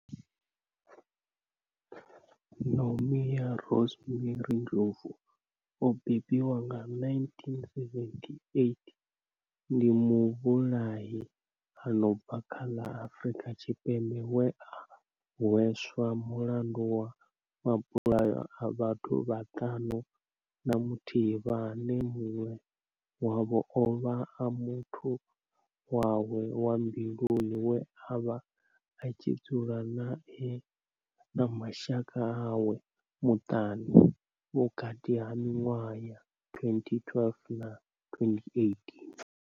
Nomia Rosemary Ndlovu o bebiwaho nga, 1978, ndi muvhulahi a no bva kha ḽa Afurika Tshipembe we a hweswa mulandu wa mabulayo a vhathu vhaṱanu na muthihi vhane munwe wavho ovha a muthu wawe wa mbiluni we avha a tshi dzula nae na mashaka awe maṱanu vhukati ha minwaha ya 2012 na 2018.